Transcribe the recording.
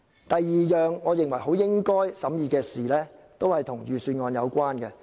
第二項我認為很應該審議的事，同樣與預算案有關。